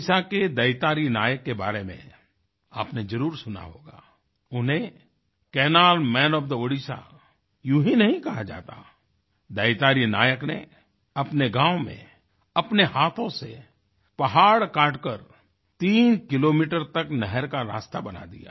ओडिशा के दैतारी नायक के बारे में आपने जरुर सुना होगा उन्हें canal man of the Odisha यूँ ही नहीं कहा जाता दैतारी नायक ने अपने गाँव में अपने हाथों से पहाड़ काटकर तीन किलोमीटर तक नहर का रास्ता बना दिया